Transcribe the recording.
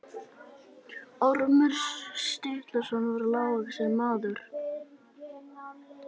Ormur Sturluson var lágvaxinn maður.